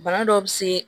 Bana dɔw bɛ se